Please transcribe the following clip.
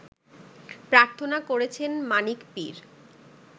প্রার্থনা করছেন মানিক পীর